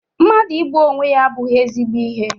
mmadụ igbu onwe ya abụghị ezigbo ihe.